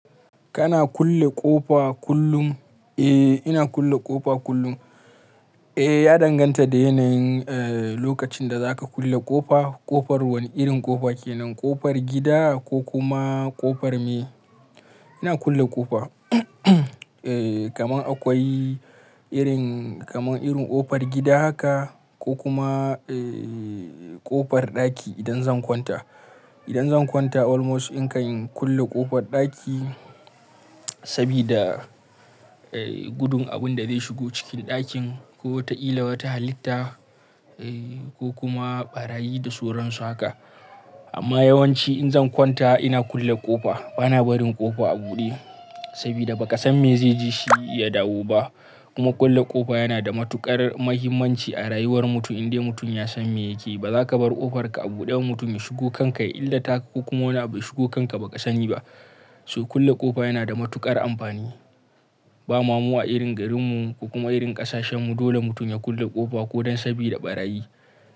Kana kulle ƙofa kullum? Eh, ina kulle ƙofa kullum. Eh, ya danganta da yanayin, eh, lokacin da za ka kulle ƙofa. Ƙofar wane irin ƙofa ke nan? Ƙofar gida ko kuma ƙofar me? Ina kulle ƙofa, eh, kamar akwai irin, kamar irin ƙofar gida haka ko kuma, eh, ƙofar ɗaki idan zan kwanta. Idan zan kwanta almost in kan kulle ƙofar ɗaki sabida, eh, gudun abin da zai shigo cikin ɗakin ko wata illa wata halitta, eh, ko kuma ɓarayi da sauran su haka. Amma yawanci in zan kwanta ina kulle ƙofa. Bana barin ƙofa a buɗe sabida ba ka san me zai ji shi ya dawo ba. Kuma kulle ƙofa yana da matuƙar muhimmanci a rayuwar mutum. Indai mutum ya san me yake, ba za ka bar ƙofarka a buɗe mutum ya shigo kanka illa taka ko kuma wani abu ya shigo kanka ba ka sani ba. So kulle ƙofa yana da matuƙar amfani. Ba mamo a irin garinmu ko kuma irin ƙasashenmu dole mutum ya kulle ƙofa ko don sabida ɓarayi.